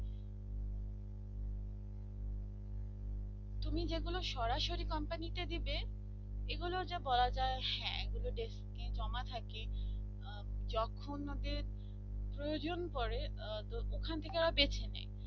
তুমি যেগুলো সরাসরি company তে দেবে এগুলো যে বলা যায় হ্যাঁ এগুলো desk এ জমা থাকি যখন ওদের প্রয়োজন পরে ওখান থেকে ওরা বেছে নেয়